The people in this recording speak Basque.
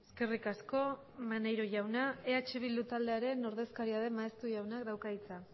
eskerrik asko maneiro jauna eh bildu taldearen ordezkaria den maeztu jaunak dauka hitza